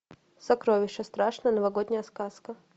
сокровище страшная новогодняя сказка